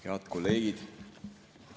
Head kolleegid!